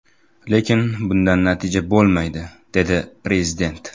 Lekin bundan natija bo‘lmaydi”, dedi Prezident.